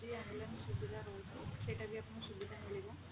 ambulance ସୁବିଧା ରହୁଛି ସେଟା ବି ଆପଣଙ୍କୁ ସୁବିଧା ମିଳିବ